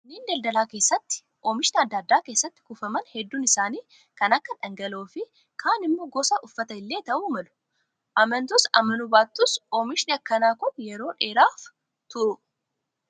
Manneen daldalaa keessatti oomishni adda addaa keessatti kuufaman hedduun isaanii kan akka dhangala'oo fi kaan immoo gosa uffataa illee ta'uu malu. Amantus amanuu baattus oomishni akkanaa kun yeroo dheeraaf turu.